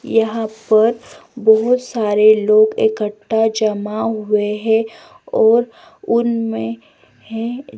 यहां पर बहुत सारे लोग इकट्ठा जमा हुए हैं और उनमें हैं।